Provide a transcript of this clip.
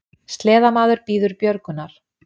Sleðamaður bíður björgunar